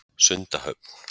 Sundahöfn